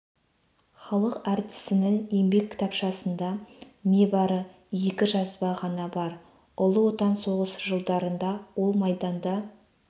халық әртісінің еңбек кітапшасында небарфы екі жазба ғана бар ұлы отан соғысы жылдарында ол майданда